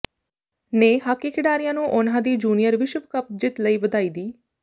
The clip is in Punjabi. ਨੇ ਹਾਕੀ ਖਿਡਾਰੀਆਂ ਨੂੰ ਉਨ੍ਹਾਂ ਦੀ ਜੂਨੀਅਰ ਵਿਸ਼ਵ ਕਪ ਜਿੱਤ ਲਈ ਵਧਾਈ ਦਿੱ